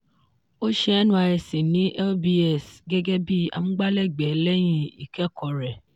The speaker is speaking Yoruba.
ó ṣe nysc ní lbs gẹ́gẹ́ bí amúgbálẹ́gbẹ̀ẹ́ lẹ́yìn ìkẹ́kọ̀ọ́ rẹ̀.